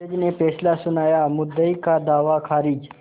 जज ने फैसला सुनायामुद्दई का दावा खारिज